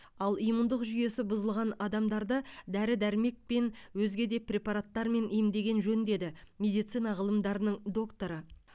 ал иммундық жүйесі бұзылған адамдарды дәрі дәрмекпен өзге де препараттармен емдеген жөн деді медицина ғылымдарының докторы